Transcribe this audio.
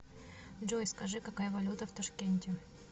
джой скажи какая валюта в ташкенте